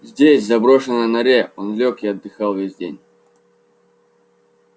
здесь в заброшенной норе он лёг и отдыхал весь день